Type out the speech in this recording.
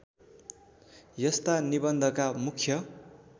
यस्ता निबन्धका मुख्य